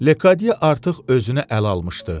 Ledi artıq özünü ələ almışdı.